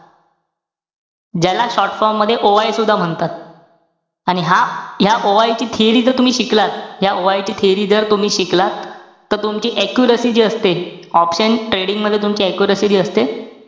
ज्याला short form मध्ये OI सुद्धा म्हणतात. आणि हा ह्या OI ची theory जर तुम्ही शिकलात. ह्या OI ची theory जर तुम्ही शिकलात. तर, तुमची accuracy जी असते. option trading मध्ये तुमची accuracy जी असते,